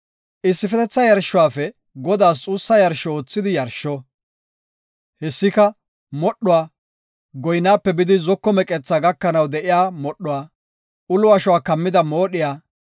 Issifetetha yarshuwafe Godaas xuussa yarsho oothidi yarsho; hessika modhuwa, goynaape bidi zoko meqethaa gakanaw de7iya modhuwa, ulo ashuwa kammida moodhiya,